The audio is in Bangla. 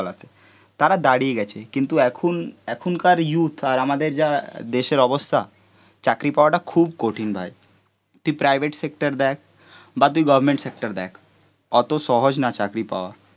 তারা দাঁড়িয়ে গেছে, কিন্তু এখন এখনকার ইয়ুথ আর আমাদের যা দেশের অবস্থা চাকরি পাওয়াটা খুব কঠিন ভাই, তুই প্রাইভেট সেক্টর দেখ বা তুই গভর্নমেন্ট সেক্টর দেখ, অত সহজ না চাকরি পাওয়া